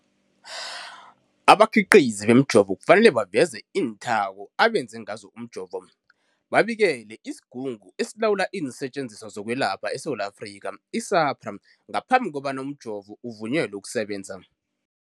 Abakhiqizi bemijovo kufanele baveze iinthako abenze ngazo umjovo, babikele isiGungu esiLawula iinSetjenziswa zokweLapha eSewula Afrika, i-SAHPRA, ngaphambi kobana umjovo uvunyelwe ukusebenza.